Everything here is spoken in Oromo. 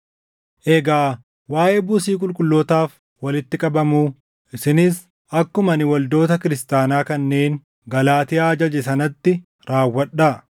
Egaa waaʼee buusii qulqullootaaf walitti qabamuu, isinis akkuma ani waldoota kiristaanaa kanneen Galaatiyaa ajaje sanatti raawwadhaa.